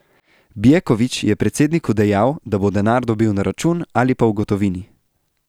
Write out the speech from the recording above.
Bjeković je predsedniku dejal, da bo denar dobil na račun ali pa v gotovini.